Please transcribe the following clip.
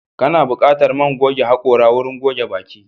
Kana buƙatar man goge haƙora wurin goge baki.